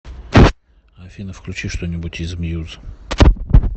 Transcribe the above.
афина включи что нибудь из мьюз